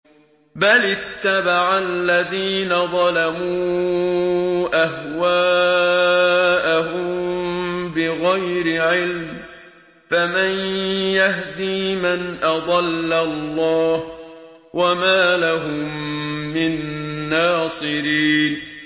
بَلِ اتَّبَعَ الَّذِينَ ظَلَمُوا أَهْوَاءَهُم بِغَيْرِ عِلْمٍ ۖ فَمَن يَهْدِي مَنْ أَضَلَّ اللَّهُ ۖ وَمَا لَهُم مِّن نَّاصِرِينَ